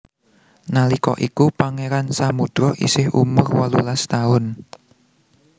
Nalika iku Pangeran Samudro isih umur wolulas taun